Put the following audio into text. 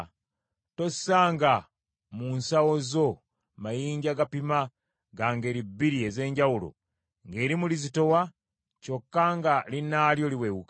Tossanga mu nsawo zo mayinja gapima ga ngeri bbiri ez’enjawulo, ng’erimu lizitowa, kyokka nga linnaalyo liwewuka.